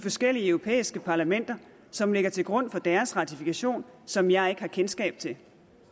forskellige europæiske parlamenter som ligger til grund for deres ratifikation som jeg ikke har kendskab til